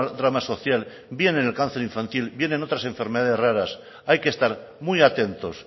drama social bien en el cáncer infantil bien en otras enfermedades raras hay que estar muy atentos